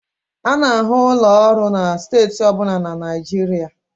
A na-ahụ ụlọ ọrụ na steeti ọ bụla na Nigeria